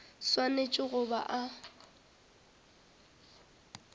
o swanetše go ba a